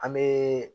An bee